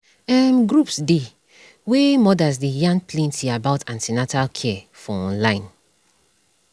um groups dey wey mothers dey yarn plenty about an ten atal care for online